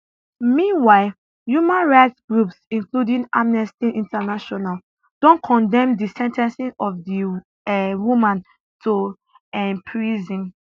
meanwhile human rights groups including amnesty international don condemn di sen ten cing of di um woman to um prison